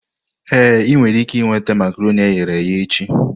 Ee, ị nwere ike nweta makaronii eghere eghe echi.